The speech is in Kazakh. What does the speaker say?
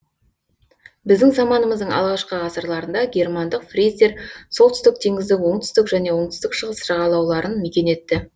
біздің заманымыздың алғашқы ғасырларында германдық фриздер солтүстік теңіздің оңтүстік және оңтүстік шығыс жағалауларын мекен етті